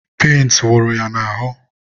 penti wụrụ ya n'ahụ..